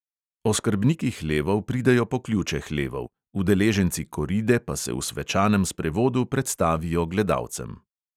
Oskrbniki hlevov pridejo po ključe hlevov, udeleženci koride pa se v svečanem sprevodu predstavijo gledalcem.